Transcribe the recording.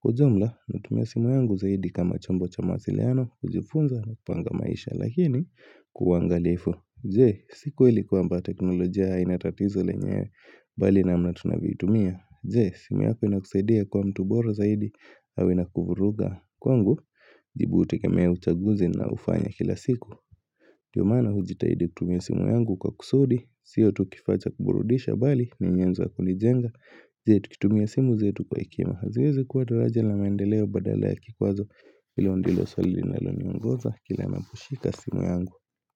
Kwa ujumla, natumia simu yangu zaidi kama chambo cha mawasiliano, kujifunza na kupanga maisha lakini kwa angalifu Je, si kweli kwamba teknolojia haina tatizo lenyewe. Bali namna tunavyoitumia. Je, simu yako inakuzaidia kuwa mtu bora zaidi? Au inakuvuruga. Kwangu, jibu utengemea uchaguzi ninaoufanya kila siku. Ndio maana hujitahidi kutumia simu yangu kwa kusudi sio tu kifaa cha kuburudisha bali ni nyenzo wa kunijenga Je, tukimia simu zetu kwa hekima, haziwezi kuwa daraja na maendeleo badala ya kikwazo? Hilo ndilo swali linaloniongoza kila ninaposhika simu yangu.